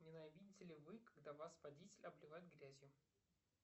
ненавидите ли вы когда вас водитель обливает грязью